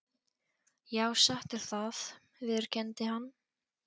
Já, satt er það, viðurkenndi hann.